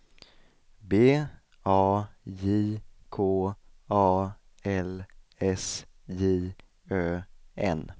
B A J K A L S J Ö N